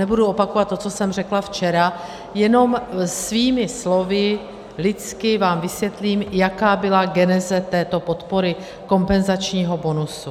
Nebudu opakovat to, co jsem řekla včera, jenom svými slovy lidsky vám vysvětlím, jaká byla geneze této podpory, kompenzačního bonusu.